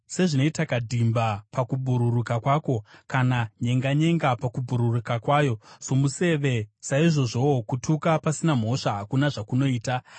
Sezvinoita kadhimba pakubhururuka kwako, kana nyenganyenga pakubhururuka kwayo somuseve, saizvozvowo kutuka pasina mhosva hakuna zvakunoita.